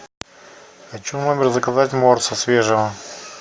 хочу в номер заказать морса свежего